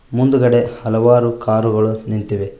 ಮುಂದುಗಡೆ ಹಲವಾರು ಕಾರ್ ಗಳು ನಿಂತಿವೆ.